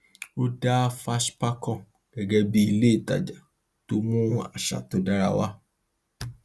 ó dá fashpacom gẹgẹ bí ilé ìtajà tó mú àṣà dára wá